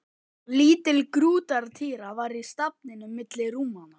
Lítil grútartýra var í stafninum milli rúmanna.